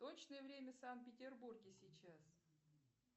точное время в санкт петербурге сейчас